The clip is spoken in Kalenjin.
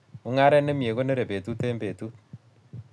Mungaret ne mie konerei betut eng betut